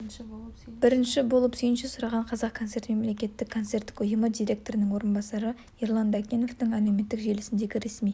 бірінші болып сүйінші сұраған қазақ концерт мемлекеттік концерттік ұйымы директорының орынбасары ерлан дәкеновтың әлеуметтік желісіндегі ресми